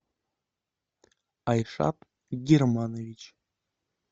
айшат германович